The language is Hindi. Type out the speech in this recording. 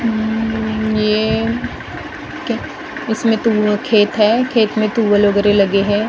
उम्म ये इसमें तो वो खेत है खेत में तुवल वगैरह लगे हैं --